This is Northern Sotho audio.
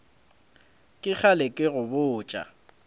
ke kgale ke go botša